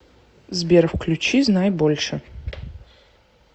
сбер включи знай больше